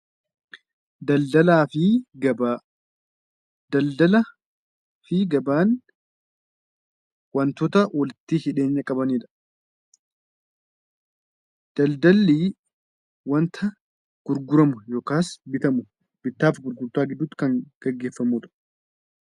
Daldalaafi gabaa, daldalaafi gabaan wantoota walitti hidheenya qabanidha. Daldalli wanta gurguramu yookaas bitamudha. Bittaaf gurgurtaa keeessatti kan gaggeeffamudha.